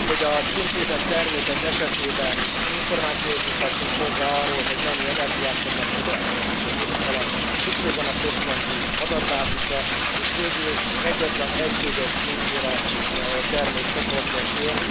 Hogy a címkézett termékek esetében információhoz juthassunk hozzá arról, hogy mennyi energiát fognak fogyasztani a működésük alatt, szükség van a központi adatbázisra, és végül egyetlen egységes címkére termékcsoportonként.